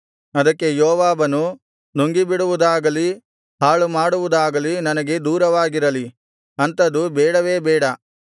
ಅದಕ್ಕೆ ಯೋವಾಬನು ನುಂಗಿಬಿಡುವುದಾಗಲಿ ಹಾಳುಮಾಡುವುದಾಗಲಿ ನನಗೆ ದೂರವಾಗಿರಲಿ ಅಂಥದ್ದು ಬೇಡವೇ ಬೇಡ